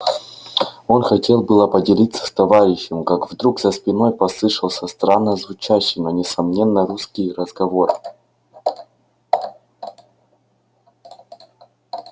он хотел было поделиться с товарищем как вдруг за спиной послышался странно звучащий но несомненно русский разговор